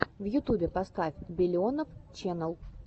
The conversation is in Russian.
в ютубе поставь биллионов ченел